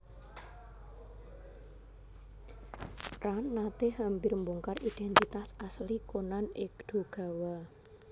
Ran nate hampir mbongkar identitas asli Conan Edogawa